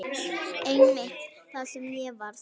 Einmitt það sem ég varð.